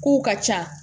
Kow ka ca